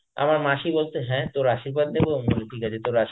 আমার মাসি বলতো হ্যাঁ তর আশির্বাদ নেবো? ঠিকআছে যে তর আশির্বাদ